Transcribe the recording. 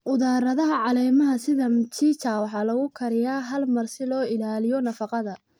Khudradaha caleemaha sida mchicha waxaa lagu kariyaa hal mar si loo ilaaliyo nafaqada.